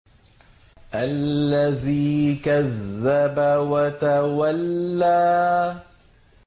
الَّذِي كَذَّبَ وَتَوَلَّىٰ